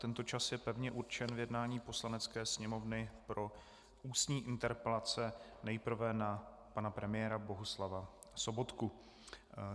Tento čas je pevně určen k jednání Poslanecké sněmovny pro ústní interpelace nejprve na pana premiéra Bohuslava Sobotku.